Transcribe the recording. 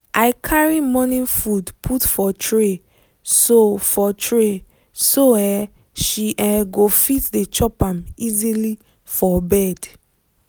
i carry morning food put for tray so for tray so um she um go fit dey chop am easily for bed.